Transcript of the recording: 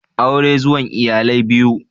Aure zuwan iyalai biyu